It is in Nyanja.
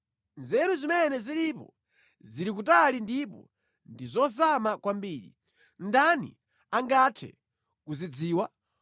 Nzeru zimene zilipo, zili kutali ndipo ndi zozama kwambiri, ndani angathe kuzidziwa?